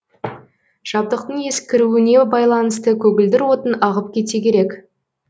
жабдықтың ескіруіне байланысты көгілдір отын ағып кетсе керек